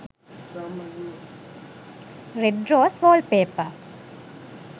red rose wallpaper